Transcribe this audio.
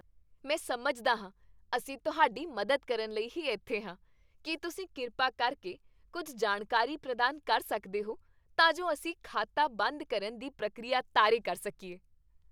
ਮੈਂ ਸਮਝਦਾ ਹਾਂ। ਅਸੀਂ ਤੁਹਾਡੀ ਮਦਦ ਕਰਨ ਲਈ ਹੀ ਇੱਥੇ ਹਾਂ। ਕੀ ਤੁਸੀਂ ਕਿਰਪਾ ਕਰਕੇ ਕੁੱਝ ਜਾਣਕਾਰੀ ਪ੍ਰਦਾਨ ਕਰ ਸਕਦੇ ਹੋ ਤਾਂ ਜੋ ਅਸੀਂ ਖਾਤਾ ਬੰਦ ਕਰਨ ਦੀ ਪ੍ਰਕਿਰਿਆ ਤਾਰੇ ਕਰ ਸਕੀਏ।